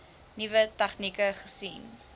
nuwe tegnieke gesien